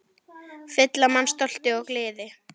Fylla mann stolti og gleði.